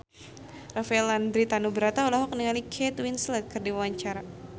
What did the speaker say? Rafael Landry Tanubrata olohok ningali Kate Winslet keur diwawancara